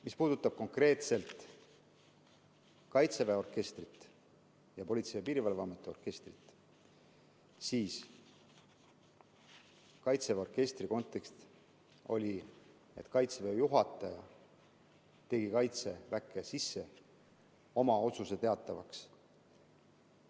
Mis puudutab konkreetselt kaitseväe orkestrit ning Politsei‑ ja Piirivalveameti orkestrit, siis kaitseväe orkestri puhul oli kontekst, et kaitseväe juhataja tegi kaitseväe sees oma otsuse teatavaks.